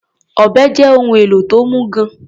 Ọ̀bẹ́ jẹ́ ohun èlò tó mú gan-an.